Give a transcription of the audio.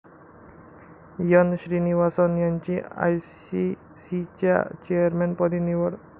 एन.श्रीनिवासन यांची आयसीसीच्या चेअरमनपदी निवड